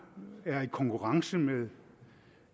er i konkurrence med